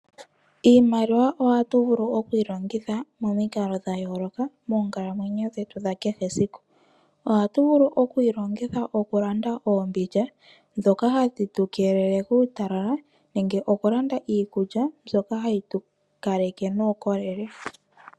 Iimaliwa ohatu vulu okuyi longitha momikalo dhayooloka moonkalamwenyo dhetu dhakehe esiku. Ohatu vulu okuyi longitha okulanda oombindja dhoka hadhi tukeelele kuutalala nenge okulanda iikulya mbyoka hayi tukaleke nuukolele.